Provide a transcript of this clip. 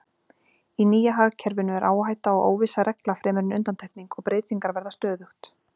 Í nýja hagkerfinu eru áhætta og óvissa regla fremur en undantekning og breytingar verða stöðugt.